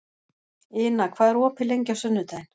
Ina, hvað er opið lengi á sunnudaginn?